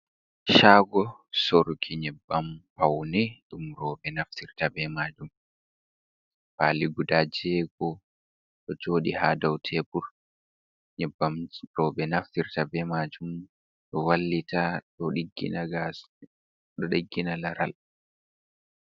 Shago surki nyibbam paune ɗum robe naftir ta bei majum fali guda jego ɗo jodi ha dau tebur nyeɓɓam roɓe naftir ta beimajum da wallita ɗo ɗiggina gas ɗo ɗiggina laral.